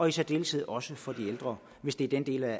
i særdeleshed også for de ældre hvis det er den del af